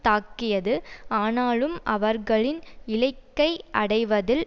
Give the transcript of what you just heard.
தாக்கியது ஆனாலும் அவர்களின் இலைக்கை அடைவதில்